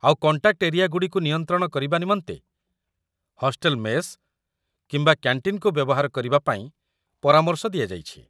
ଆଉ contact area ଗୁଡ଼ିକୁ ନିୟନ୍ତ୍ରଣ କରିବା ନିମନ୍ତେ ହଷ୍ଟେଲ ମେସ୍ କିମ୍ବା କ‍୍ୟାଣ୍ଟିନ୍‌କୁ ବ୍ୟବହାର କରିବାପାଇଁ ପରାମର୍ଶ ଦିଆଯାଇଛି